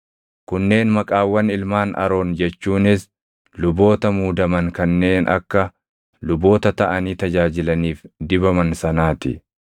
Kunneen maqaawwan ilmaan Aroon jechuunis luboota muudaman kanneen akka luboota taʼanii tajaajilaniif dibaman sanaa ti.